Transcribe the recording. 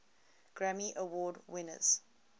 grammy award winners